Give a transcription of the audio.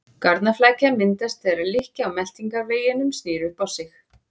Garnaflækja myndast þegar lykkja á meltingarveginum snýr upp á sig.